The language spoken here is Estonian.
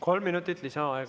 Kolm minutit lisaaega.